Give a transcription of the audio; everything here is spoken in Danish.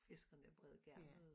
Fiskerne breder garnet ud